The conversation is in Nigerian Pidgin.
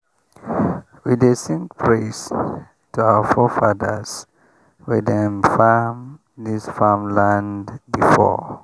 we dey sing praise to our forefathers wey don farm this same land before.